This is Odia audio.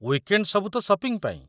ୱିକେଣ୍ଡ୍ ସବୁ ତ ସପିଂ ପାଇଁ!